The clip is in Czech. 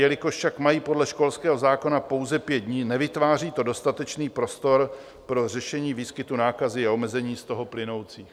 Jelikož však mají podle školského zákona pouze pět dní, nevytváří to dostatečný prostor pro řešení výskytů nákazy a omezení z toho plynoucích.